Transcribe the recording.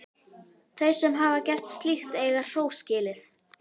Þau sem hafa gert slíkt eiga hrós skilið.